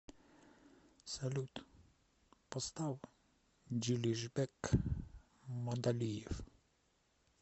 салют поставь джилижбек мадалиев